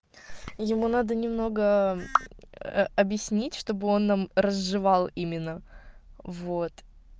ему надо немного ээ объяснить чтобы он нам разжевал именно вот